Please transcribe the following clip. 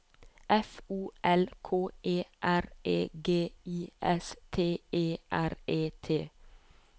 F O L K E R E G I S T E R E T